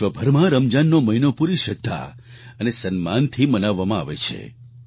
વિશ્વભરમાં રમજાનનો મહિનો પૂરી શ્રદ્ધા અને સન્માનથી મનાવવામાં આવે છે